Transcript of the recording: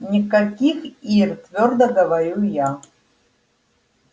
никаких ир твёрдо говорю я